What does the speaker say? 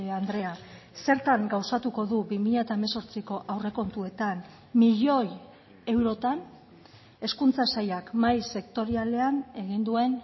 andrea zertan gauzatuko du bi mila hemezortziko aurrekontuetan milioi eurotan hezkuntza sailak mahai sektorialean egin duen